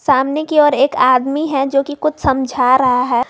सामने की ओर एक आदमी है जो कि कुछ समझा रहा है।